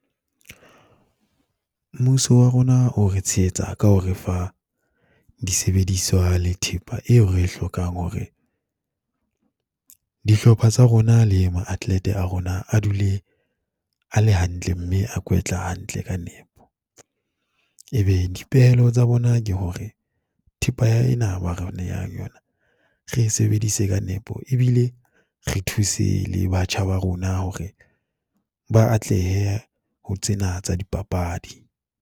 Mmuso wa rona o re tshehetsa ka ho re fa disebediswa le thepa eo re e hlokang hore dihlopha tsa rona le mo atlete a rona a dule a le hantle mme a kwetla hantle ka nepo. Ebe dipehelo tsa bona ke hore thepa ena ba re nehang yona, re e sebedise ka nepo ebile re thuse le batjha ba rona hore ba atlehe ho tsena tsa dipapadi.